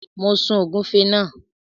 Mo sun ògúnfe náà.